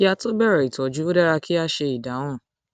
kí a tó bẹrẹ ìtọjú ó dára kí a ṣe ìdáhùn